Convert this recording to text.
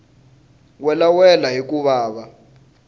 welawela hi ku va va